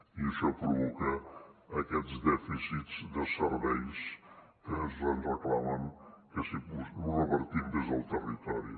i això provoca aquests dèficits de serveis que ens reclamen que revertim des del territori